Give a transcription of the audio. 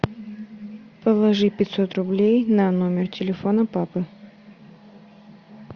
положи пятьсот рублей на номер телефона папы